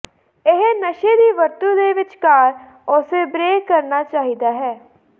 ਇਹ ਨਸ਼ੇ ਦੀ ਵਰਤੋ ਦੇ ਵਿਚਕਾਰ ਉਸੇ ਬ੍ਰੇਕ ਕਰਨਾ ਚਾਹੀਦਾ ਹੈ